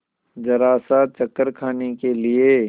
जरासा चक्कर खाने के लिए